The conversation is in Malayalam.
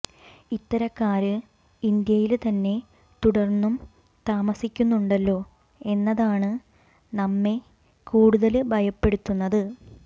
ഇത്തരക്കാര് ഇന്ത്യയില് തന്നെ തുടര്ന്നും താമസിക്കുന്നുണ്ടല്ലോ എന്നതാണ് നമ്മെ കൂടുതല് ഭയപ്പെടുത്തുന്നത്